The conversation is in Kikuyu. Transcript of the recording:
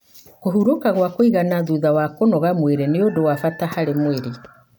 kũhurũka gwa kwĩgana thutha wa kũnogora mwĩrĩ ni ũndu wa bata harĩ mwĩrĩ.